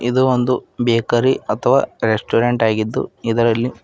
ಇದು ಒಂದು ಬೇಕರಿ ಅಥವಾ ರೆಸ್ಟೋರೆಂಟ್ ಆಗಿದ್ದು ಇದರಲ್ಲಿ --